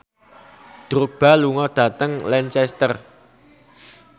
Drogba lunga dhateng Lancaster